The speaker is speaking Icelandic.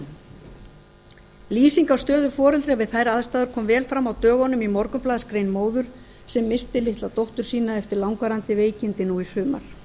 lýsing á stöðu foreldra við þær aðstæður kom vel fram á dögunum í morgunblaðsgrein móður sem missti litla dóttur ein eftir langvarandi veikindi nú í sumar